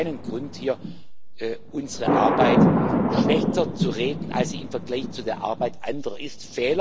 Wir haben keinen Grund hier, unsere Arbeit schlechter zu reden, als sie im Vergleich zu der Arbeit anderer ist.